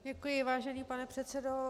Děkuji, vážený pane předsedo.